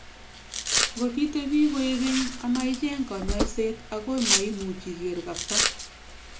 Ngot itebii koek keny ama icheng kanyaiset agoi maimuch iger kapsa